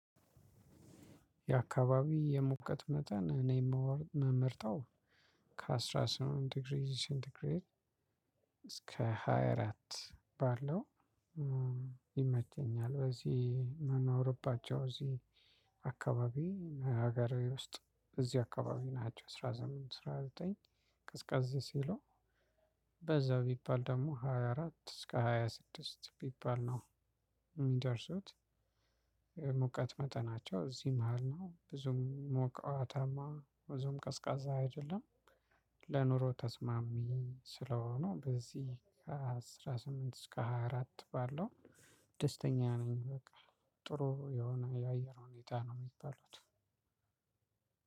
የአካባቢ የሙቀት መጠን እኔ ምመርጠው ከአስራ ስምንት ዲግሪ ሴንቲግሬድ እስከ ሃያ አራት ባለው ይመቸኛል። በዚህ የምኖርባቸው እዚ አካባቢ ሀገር ውስጥ እዚህ አካባቢ ናቸው። አስራ ስምንት አስራ ዘጠኝ ቀዝቀዝ ሲሉ በዛ ቢባል ደግሞ ሃያ አራት እስከ ሃያ ስድስት ቢባል ነው የሚደርሱት። የሙቀት መጠናቸው እዚህ መሃል ነው ብዙም ሞቃታማ ብዙም ቀዝቃዛ አይደለም። ለኑሮ ተስማሚ ስለሆኑ በዚህ ከአስራ ስምንት እስከ ሃያ አራት ባለው ደስተኛ ነኝ። በቃ ጥሩ የሆነ የአየር ሁኔታ ነው። የሚባሉት